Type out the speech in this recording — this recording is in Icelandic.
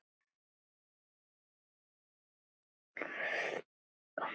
Hvað ertu annars að gera?